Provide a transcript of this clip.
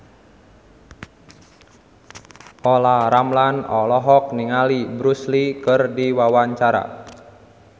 Olla Ramlan olohok ningali Bruce Lee keur diwawancara